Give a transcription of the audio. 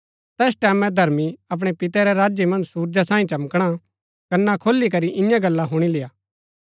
तैस टैमैं धर्मी अपणै पिता रै राज्य मन्ज सुरजा साई चमकणा कन्‍ना खोली करी ईयां गल्ला हुणी लेय्आ